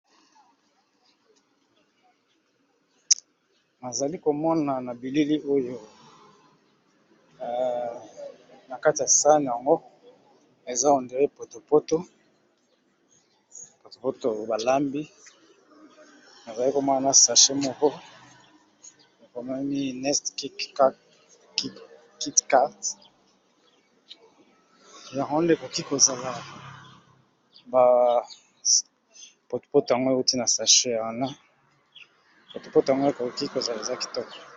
Nazali komona na bilili oyo na kati ya sane yango eza on dirait potopoto oyopoto balambi nazali komona na sache moko ekomemi nest kitcard jarond, ekoki kozala apotopoto ango euti na sache ya wana potopoto ango eoki kozala eza kitoko.